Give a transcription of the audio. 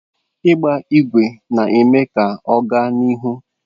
Ịgba ígwè na-eme ka ọ gaa n'ihu.